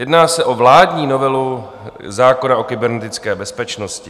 Jedná se o vládní novelu zákona o kybernetické bezpečnosti.